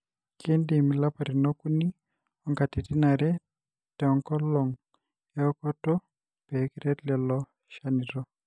kindim ilapatin okuni onkatitin are tenkolong eokoto pekiret lelo chanitok.